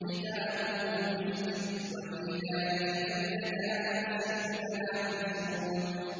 خِتَامُهُ مِسْكٌ ۚ وَفِي ذَٰلِكَ فَلْيَتَنَافَسِ الْمُتَنَافِسُونَ